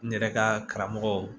N yɛrɛ ka karamɔgɔw